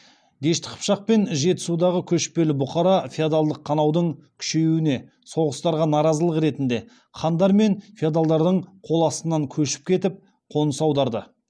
дешті қыпшақ пен жетісудағы көшпелі бұқара феодалдық қанаудың күшеюіне соғыстарға наразылық ретінде хандар мен феодалдардың қол астынан көшіп кетіп қоныс аударды